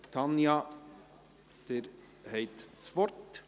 Tanja Bauer, Sie haben das Wort.